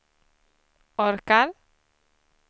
orkar